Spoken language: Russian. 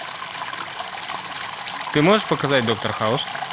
ты можешь показать доктор хаус